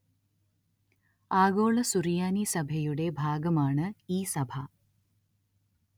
ആഗോള സുറിയാനി സഭയുടെ ഭാഗമാണ് ഈ സഭ